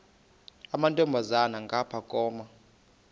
amantombazana ngapha koma